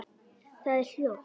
Það er hljótt.